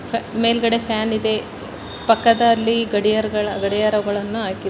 ಮೇಲ್ಗಡೆ ಫ್ಯಾನ್ ಇದೆ ಪಕ್ಕದಲ್ಲಿ ಗಡಿಯಾರಗಳ ಗಡಿಯಾರಗಳನ್ನು ಹಾಕಿ--